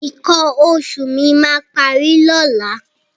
Nǹkan oṣù mi máa parí lọ́la.